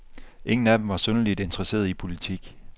Ingen af dem var synderligt interesseret i politik.